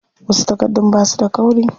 Wasu takardun basu da kauri.